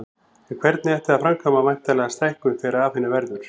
En hvernig ætti að framkvæma væntanlega stækkun þegar af henni verður.